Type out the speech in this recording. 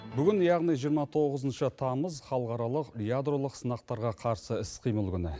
бүгін яғни жиырма тоғызыншы тамыз халықаралық ядролық сынақтарға қарсы іс қимыл күні